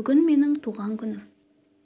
бүгін менің туған күнім